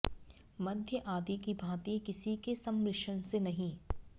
मद्य आदि की भाँति किसी के सम्मिश्रण से नहीं